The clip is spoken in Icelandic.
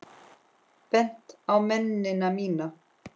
Bent á mennina mína.